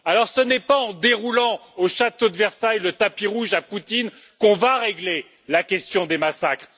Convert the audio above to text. Ce n'est pas en déroulant, au château de Versailles, le tapis rouge à Poutine qu'on va régler la question des massacres.